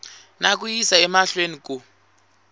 na ku yisa emahlweni ku